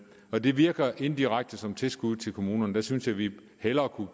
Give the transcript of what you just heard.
og det virker indirekte som tilskud til kommunerne der synes jeg vi hellere